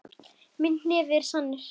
Minn hnefi er sannur.